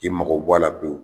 I mago bɔ a la pewu